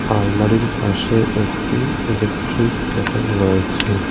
আলমারির পাশে একটি ইলেকট্রিক ক্যাটেল রয়েছে।